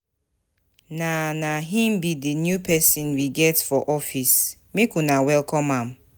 Na Na him be the new person we get for office make una welcome am